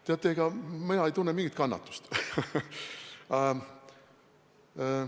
Teate, ega mina ei tunne mingit kannatust.